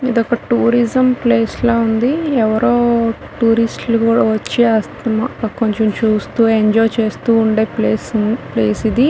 ఇదొక tourism place లా ఉంది ఎవ్వరో టూరిస్ట్ లు కూడా వచ్చి కొంచం చూస్తూ ఎంజాయ్ చేస్తున్న ప్లేస్ ప్లేస్ ఇది.